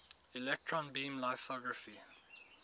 electron beam lithography